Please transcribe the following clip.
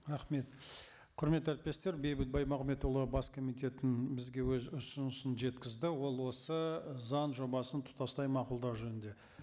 рахмет құрметті әріптестер бейбіт баймағамбетұлы бас комитеттің бізге өз ұсынысын жеткізді ол осы заң жобасын тұтастай мақұлдау жөнінде